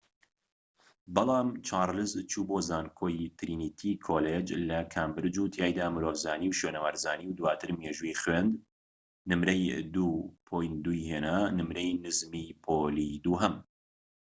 بەڵام چارلز چوو بۆ زانکۆی ترینیتی کۆلیج لە کامبرج و تیایدا مرۆڤزانی و شوێنەوارزانی و دواتر مێژووی خوێند، نمرەی ٢:٢ ی هێنا نمرەی نزمی پۆلی دووهەم